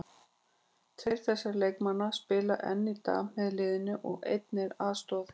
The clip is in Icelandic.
Tveir þessara leikmanna spila enn í dag með liðinu og einn er aðstoðarþjálfari.